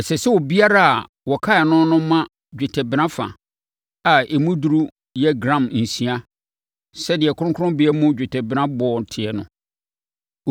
Ɛsɛ sɛ obiara a wɔkan no no ma dwetɛbena fa, a emu duru yɛ gram nsia (sɛdeɛ kronkronbea mu dwetɛbena boɔ teɛ no).